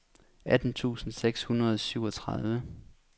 atten tusind seks hundrede og syvogtredive